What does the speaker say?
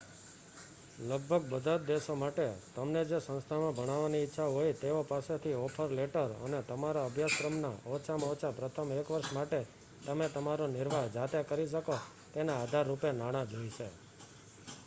લગભગ બધા જ દેશો માટે તમને જે સંસ્થામાં ભણવાની ઈચ્છા હોય તેઓ પાસેથી ઓફર લેટર અને તમારા અભ્યાસક્રમ ના ઓછામાં ઓછા પ્રથમ એક વર્ષ માટે તમે તમારો નિર્વાહ જાતે કરી શકો તેના આધારરૂપે નાણાં જોઈશે